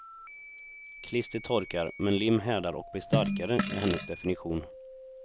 Klister torkar, men lim härdar och blir starkare, är hennes definition.